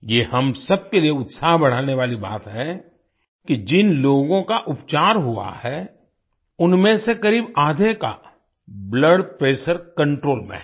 ये हम सबके लिए उत्साह बढ़ाने वाली बात है कि जिन लोगों का उपचार हुआ है उनमें से क़रीब आधे का ब्लड प्रेशर कंट्रोल में है